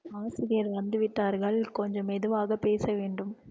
ஆசிரியர் வந்து விட்டார்கள் கொஞ்சம் மெதுவாக பேச வேண்டும்